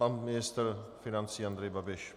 Pan ministr financí Andrej Babiš.